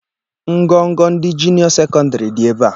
Ngọ̀ngọ̀ ndị juniọọ sekọndịrị dị ebe a.